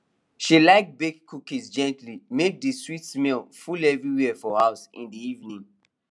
she like bake cookies gently make the sweet smell full everywhere for house in the evening